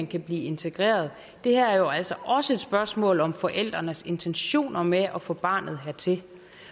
kan blive integreret det her er jo altså også et spørgsmål om forældrenes intentioner med at få barnet hertil